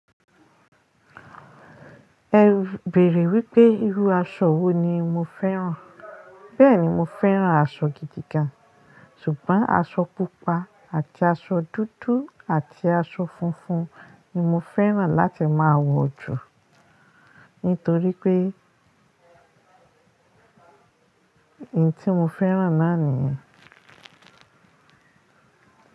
Ẹ bèèrè wípé irú aṣọ wo ni mo fẹ́ràn. Bẹ́ẹ̀ni mo fẹ́ràn aṣọ gidi gan, ṣùgbọ́n aṣọ pupa àti aṣọ dúdú àti aṣọ funfun ni mo fẹ́ràn láti máa wọ̀ jù. Nítorí pé èyí tí mo fẹ́ràn náà nìyẹn.